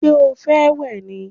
Ṣé o fẹ́ wẹ̀ ni?